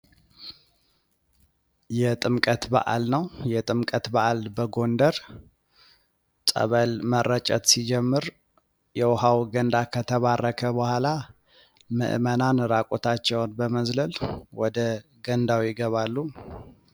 የጥምቀት በአል ነው ፤ የጥምቀት በአል በጎንደር። ጸበል መረጨት ሲጀመር የዉሃው ገንዳ ከተባረከ በህዋላ ምዕመናን ራቁታቸውን በመዝለል ወደ ገንዳው ይገባሉ።